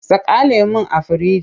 Saka lemon a firinji!